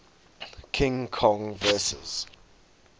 king kong vs